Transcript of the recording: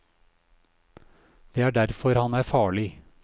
Det er derfor han er farlig.